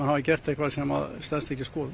hafa gert eitthvað sem stenst ekki skoðun